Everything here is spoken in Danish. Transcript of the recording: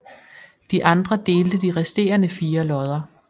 De andre delte de resterende fire lodder